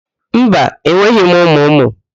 Mba, enweghị m ụmụ ụmụ.